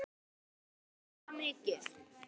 Hefur fiskur hækkað mikið?